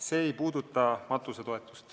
See ei puuduta matusetoetust.